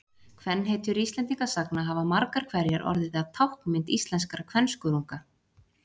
Kvenhetjur Íslendingasagna hafa margar hverjar orðið að táknmynd íslenskra kvenskörunga.